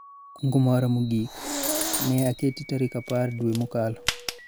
kungo mara mogik ne oketi tarik apar dwe mokalo